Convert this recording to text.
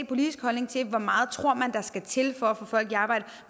politisk holdning til hvor meget man tror der skal til for at få folk i arbejde